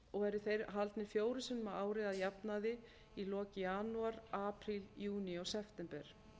eru þeir haldnir fjórum sinnum á ári að jafnaði í lok janúar apríl júní og september